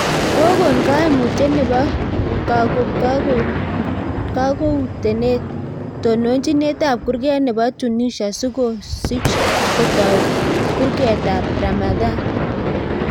Kokon kaimutyet nebo kaguotenet tonochinindet ab kurget nebo Tunisia sokosich kotoi karugutet ab ramadhan